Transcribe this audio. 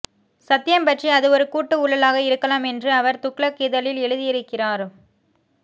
சத்யம் பற்றி அது ஒரு கூட்டு ஊழலாக இருக்கலாம் என்று அவர் துக்ளக் இதழில் எழுதியிருக்கிறார்